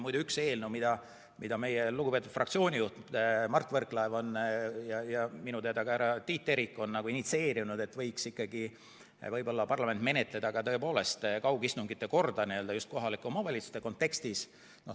Muide, üks eelnõu, mida meie lugupeetud fraktsioonijuht Mart Võrklaev ja minu teada ka härra Tiit Terik on initsieerinud, on see, et parlament võiks menetleda kaugistungite korda just kohalike omavalitsuste kontekstis.